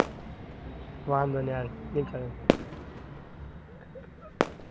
વાંધો ની હાલ નિકળ.